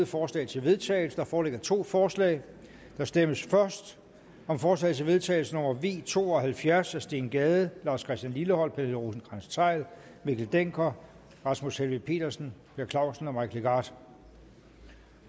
forslag til vedtagelse der foreligger to forslag der stemmes først om forslag til vedtagelse nummer v to og halvfjerds af steen gade lars christian lilleholt pernille rosenkrantz theil mikkel dencker rasmus helveg petersen per clausen og mike legarth